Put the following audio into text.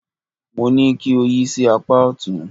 Mo ní kí o yí sí apá ọ̀tún.